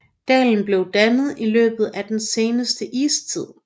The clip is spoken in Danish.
Dalen blev dannet i løbet af den seneste istid